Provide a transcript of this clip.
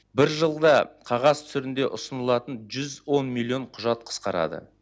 бір жылда қағаз түрінде ұсынылатын жүз он миллион құжат қысқарады